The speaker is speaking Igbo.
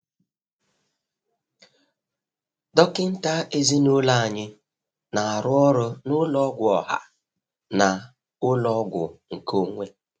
Dọkịta ezinụlọ anyị na-arụ n'ụlọ ọgwụ ọha na ụlọ ọgwụ nkeonwe.